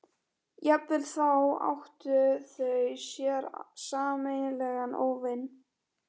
Í hinni hendinni hélt hann á stóru vasaljósi.